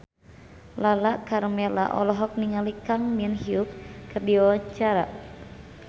Lala Karmela olohok ningali Kang Min Hyuk keur diwawancara